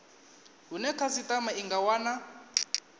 hune khasitama i nga wana